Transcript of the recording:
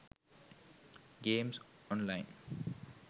games online